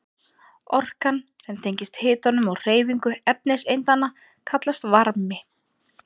Orkan sem tengist hitanum og hreyfingu efniseindanna kallast varmi.